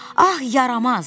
Ah, yaramaz.